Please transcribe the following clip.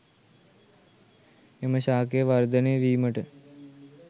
එම ශාකය වර්ධනය වීමට